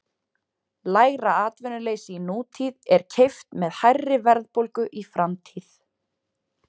lægra atvinnuleysi í nútíð er keypt með hærri verðbólgu í framtíð